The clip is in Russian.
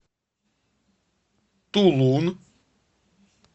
тулун